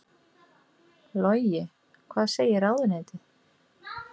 Logi: Hvað segir ráðuneytið?